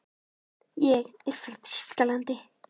Ég er frá Þýskalandi.